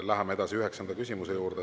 Läheme edasi üheksanda küsimuse juurde.